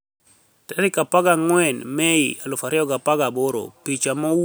14 Mei 2018 Picha mowuok, Getty Images Be owinijore wanig'awre monido wabed gi nigima maber?